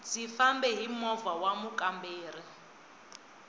ndzi fambe hi moha wa mukamberi